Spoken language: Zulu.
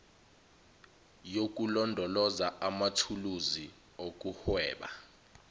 yokulondoloza amathuluzi okuhweba